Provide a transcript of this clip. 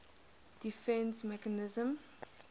defence mechanism